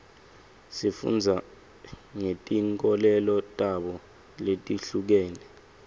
sifunda ngetinkolelo tabo letihlukene